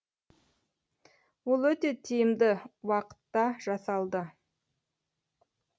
ол өте тиімді уақытта жасалды